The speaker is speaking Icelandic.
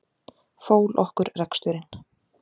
Fól okkur reksturinn.